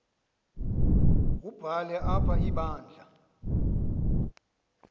wubhale apha ibandla